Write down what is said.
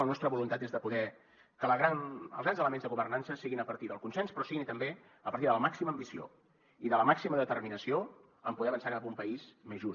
la nostra voluntat és de poder fer que els grans elements de governança siguin a partir del consens però siguin també a partir de la màxima ambició i de la màxima determinació en poder avançar cap a un país més just